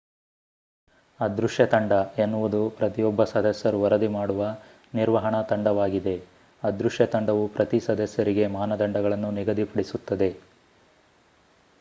ಅದೃಶ್ಯ ತಂಡ ಎನ್ನುವುದು ಪ್ರತಿಯೊಬ್ಬ ಸದಸ್ಯರು ವರದಿ ಮಾಡುವ ನಿರ್ವಹಣಾ ತಂಡವಾಗಿದೆ ಅದೃಶ್ಯ ತಂಡವು ಪ್ರತಿ ಸದಸ್ಯರಿಗೆ ಮಾನದಂಡಗಳನ್ನು ನಿಗದಿಪಡಿಸುತ್ತದೆ